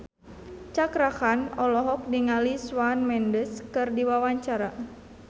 Cakra Khan olohok ningali Shawn Mendes keur diwawancara